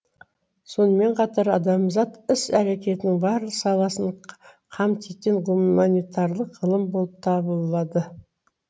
сонымен қатар адамзат іс әрекетінің барлық саласын қамтитын гуманитарлық ғылым болып табылады